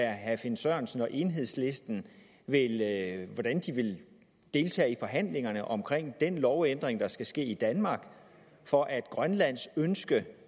herre finn sørensen og enhedslisten vil deltage i forhandlingerne om den lovændring der skal ske i danmark for at grønlands ønske